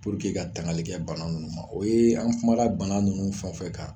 Puruke ka tangali kɛ bana nunnu ma o ye an kumara bana nunnu fɛnfɛn kan